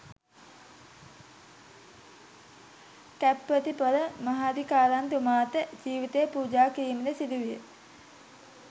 කැප්පෙටිපොල මහාධිකාරම්තුමාට ජීවිතය පූජා කිරීමට සිදුවිය.